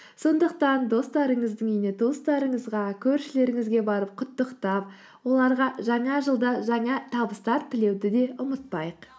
сондықтан достарыңыздың үйіне туыстарыңызға көршілеріңізге барып құттықтап оларға жаңа жылда жаңа табыстар тілеуді де ұмытпайық